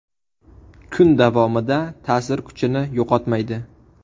Kun davomida ta’sir kuchini yo‘qotmaydi.